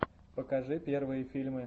покажи первые фильмы